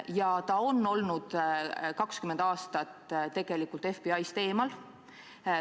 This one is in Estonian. Ta on tegelikult olnud 20 aastat FBI-st eemal.